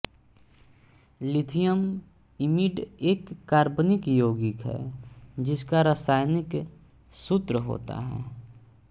lithium imide एक कार्बनिक यौगिक है जिसका रासायनिक सूत्र होता है